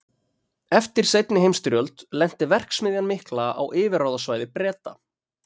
Eftir seinni heimsstyrjöld lenti verksmiðjan mikla á yfirráðasvæði Breta.